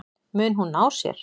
Mun hún ná sér?